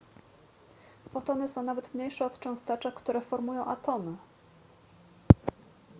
fotony są nawet mniejsze od cząsteczek które formują atomy